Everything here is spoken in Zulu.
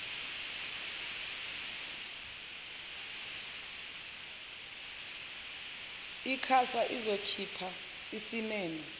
icasa izokhipha isimemo